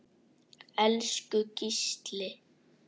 Elsku Gísli.